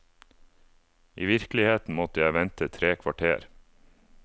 I virkeligheten måtte jeg vente tre kvarter.